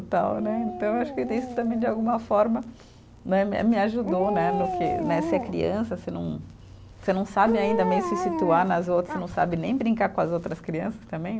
Então né, então acho que tem isso também de alguma forma né me a, me ajudou né, no que né, ser criança, você não, você não sabe ainda meio se situar nas outras, você não sabe nem brincar com as outras crianças também.